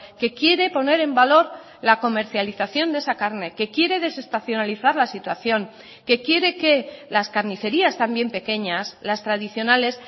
que quiere poner en valor la comercialización de esa carne que quiere desestacionalizar la situación que quiere que las carnicerías también pequeñas las tradicionales